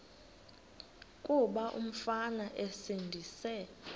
kuba umfana esindise